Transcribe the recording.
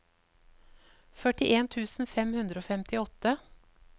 førtien tusen fem hundre og femtiåtte